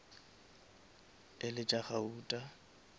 e le tša gauta